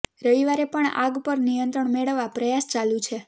રવિવારે પણ આગ પર નિયંત્રણ મેળવવા પ્રયાસ ચાલુ છે